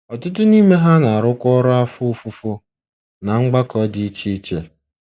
Ọtụtụ n’ime ha na-arụkwa ọrụ afọ ofufo ná mgbakọ dị iche iche.